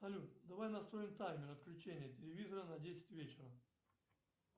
салют давай настроим таймер отключения телевизора на десять вечера